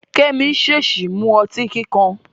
Kẹ́mi ṣèèṣì mu ọtí kíkan.